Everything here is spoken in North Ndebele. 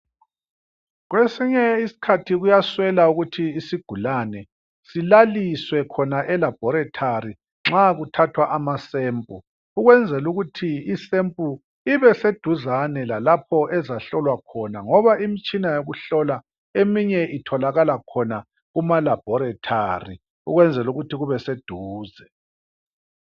kwesinye iskhathi kuyaswela ukuthi sona isigulane silaliswe khona e laboratory nxa kuthathwa ama sample ukwenzela ukuthi i sample ibe seduzane lalapho ezahlolwa khona ngoba imitshina yokuhlola eminye itholakala khona kumalaboratory ukwenzela ukuthi kube seduze